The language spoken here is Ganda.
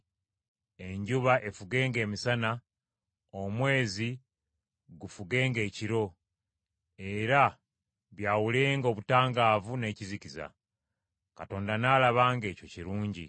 enjuba efugenga emisana, omwezi gufugenga ekiro, era byawulenga obutangaavu n’ekizikiza. Katonda n’alaba ng’ekyo kirungi.